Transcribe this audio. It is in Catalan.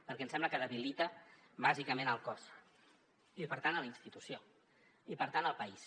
perquè em sembla que debilita bàsicament el cos i per tant la institució i per tant el país